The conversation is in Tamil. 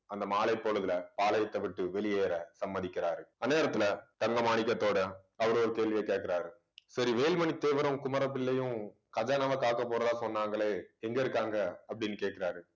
அந்த மாலைப்பொழுதுல பாளையத்தை விட்டு வெளியேற சம்மதிக்கிறார் அந்நேரத்துல தங்க மாணிக்கத்தோடை அவரு ஒரு கேள்வியைக் கேட்கிறாரு சரி வேல்மணி தேவரும் குமரப்பிள்ளையும் கதை நம்ம தாக்கப் போறதா சொன்னாங்களே எங்க இருக்காங்க அப்படின்னு கேட்கிறாரு